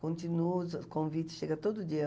Continuo, os convites chega todo dia.